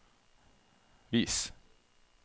vis